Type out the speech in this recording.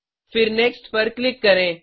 फिर नेक्स्ट पर क्लिक करें